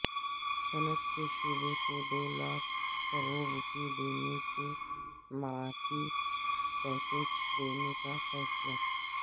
صنعت کے شعبے کو دو لاکھ کروڑ روپئےکے مراعاتی پیکیج دینے کا فیصلہ